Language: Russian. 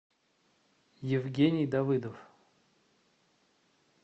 евгений давыдов